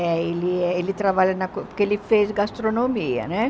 É, ele é ele trabalha na co, porque ele fez gastronomia, né?